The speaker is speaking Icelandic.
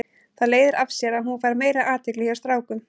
Það leiðir af sér að hún fær meiri athygli hjá strákum.